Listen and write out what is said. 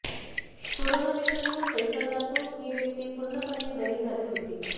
corona विषाणू संसर्गातून ही व्यक्ती पुर्णपणे बरी झाली होती